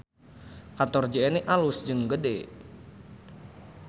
Kantor JNE alus jeung gede